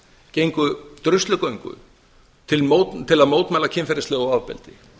gengu druslugöngu til að mótmæla kynferðislegu ofbeldi